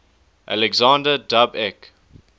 alexander dub ek